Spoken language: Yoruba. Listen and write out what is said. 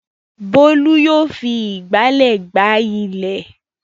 Bólú yóò fi ìgbálẹ̀ gbá ilẹ̀.